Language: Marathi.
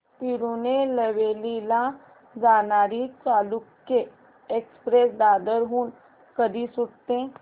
तिरूनेलवेली ला जाणारी चालुक्य एक्सप्रेस दादर हून कधी सुटते